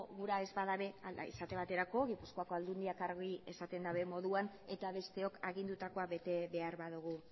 gura ez badabe esate baterako gipuzkoako aldundiak argi esaten daben moduan eta besteok agindutakoa bete behar badugu